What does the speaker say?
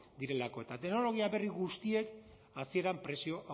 direlako eta teknologia berri guztiek hasieran presio